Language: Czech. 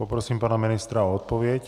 Poprosím pana ministra o odpověď.